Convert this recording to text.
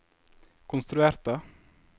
konstruerte